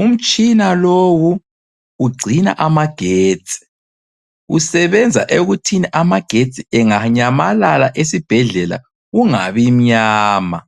Umtshina lowu ugcina amagetsi. Usebenza ekuthini amagetsi enganyamalala esibhedlela kungabi mnyama.